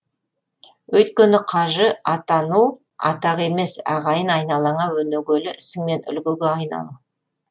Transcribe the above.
өйткені қажы атану атақ емес ағайын айналаңа өнегелі ісіңмен үлгіге айналу